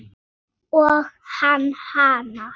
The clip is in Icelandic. Og hann hana.